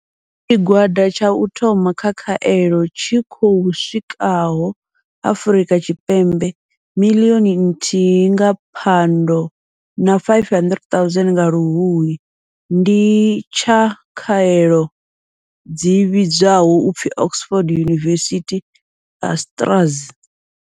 Tshigwada tsha u thoma tsha khaelo tshi khou swikaho Afrika Tshipembe miḽioni nthihi nga Phando na 500 000 nga Luhuhi ndi tsha khaelo dzi vhidzwaho u pfi Oxford University-AstraZ.